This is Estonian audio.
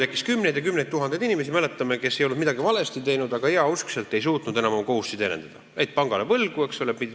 Oli kümneid ja kümneid tuhandeid inimesi – me mäletame seda –, kes ei olnud midagi valesti teinud, aga heauskselt ei suutnud enam oma kohustusi täita, jäid pangale võlgu.